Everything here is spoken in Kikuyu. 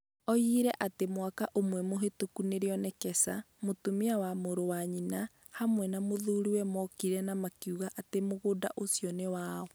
Oigire atĩ mwaka ũmwe mĩhĩtũku nĩrĩo Nekesa, mũtumia wa mũrũ wa nyina, hamwe na mũthuriwe mookire na makiuga atĩ mũgũnda ũcio nĩ wao.